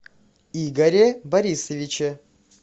игоре борисовиче